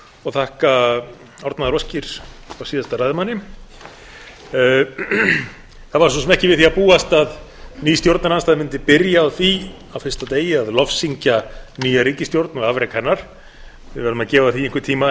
og þakka árnaðaróskir frá síðasta ræðumanni það var svo sem ekki við því að búast að ný stjórnarandstaða mundi byrja á því á fyrsta degi að lofsyngja nýja ríkisstjórn og afrek hennar við verðum að gefa því einhvern tíma